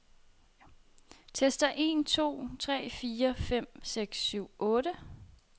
Tester en to tre fire fem seks syv otte.